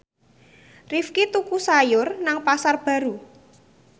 Rifqi tuku sayur nang Pasar Baru